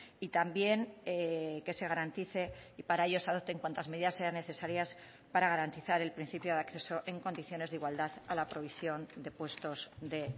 y también que se garantice y para ello se adopten cuantas medidas sean necesarias para garantizar el principio de acceso en condiciones de igualdad a la provisión de puestos de